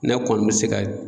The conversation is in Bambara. Ne kɔni bi se ka